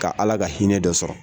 Ka ALA ka hinɛ dɔ sɔrɔ.